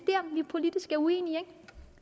politisk uenige